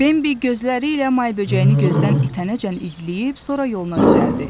Bembi gözləri ilə may böcəyini gözdən itənəcən izləyib, sonra yoluna düzəldi.